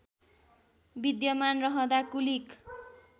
विद्यमान रहँदा कुलिक